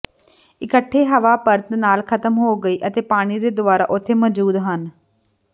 ਇਕੱਠੇ ਹਵਾ ਪਰਤ ਨਾਲ ਖਤਮ ਹੋ ਗਈ ਅਤੇ ਪਾਣੀ ਦੇ ਦੁਵਾਰਾ ਉਥੇ ਮੌਜੂਦ ਹਨ